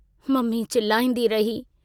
Mummy चिलाईंदी रही।